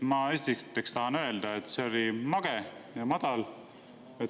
Ma tahan esiteks öelda, et see oli mage ja madal.